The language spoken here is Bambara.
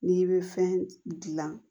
N'i bɛ fɛn dilan